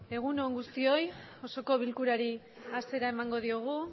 egunon guztioi osoko bilkurari hasiera emango diogu